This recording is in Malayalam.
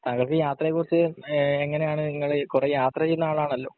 താങ്കൾക്ക് യാത്രയെ കുറിച്ച് ഏഹ് എങ്ങിനെയാണ് ഇങ്ങള് കൊറേ യാത്ര ചെയുന്ന ആളാണല്ലോ